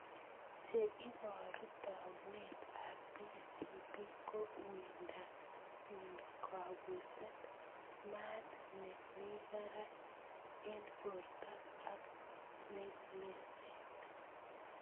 Che iporu taunet ap PCP ko uindo ing kapuset, maat ne mii barak ing porto ak lalset.